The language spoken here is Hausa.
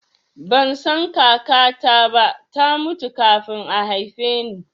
Ban san kakata ba, ta mutu kafin a haife ni